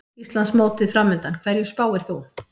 Íslandsmótið framundan, hverju spáir þú?